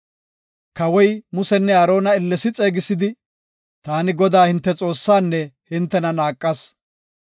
Kawoy Musenne Aarona ellesi xeegisidi, “Taani Godaa hinte Xoossaanne hintena naaqas.